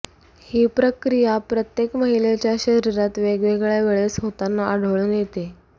ही प्रक्रिया प्रत्येक महिलेच्या शरीरात वेगवेगळ्या वेळेस होताना आढळून येते